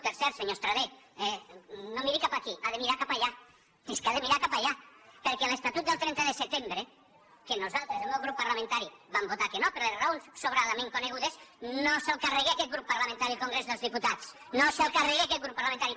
per cert senyor estradé no miri cap aquí ha de mirar cap allà és que ha de mirar cap allà perquè l’estatut del trenta de setembre que nosaltres el meu grup parlamentari vam votar que no per les raons sobradament conegudes no se’l carrega aquest grup parlamentari al congrés dels diputats no se’l carrega aquest grup parlamentari